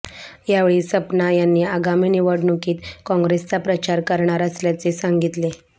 यावेळी सपना यांनी आगामी निवडणुकीत काँग्रेसचा प्रचार करणार असल्याचे सांगितले